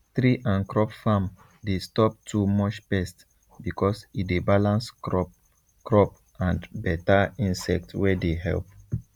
tree and crop farm dey stop too much pest because e dey balance crop crop and better insect wey dey help